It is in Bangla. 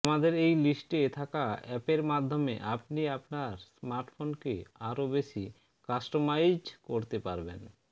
আমাদের এই লিস্টে থাকা অ্যাপের মাধ্যমে আপনি আপনার স্মার্টফোনকে আরো বেশি কাস্টমাইজড করতে পারবেন